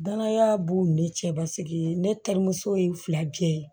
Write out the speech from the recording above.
Danaya b'u ni ne cɛ basi ye ne terimuso ye fila jɛ ye